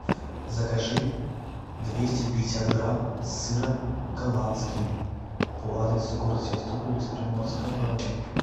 закажи двести пятьдесят грамм сыра голландский по адресу город севастополь улица приморская два в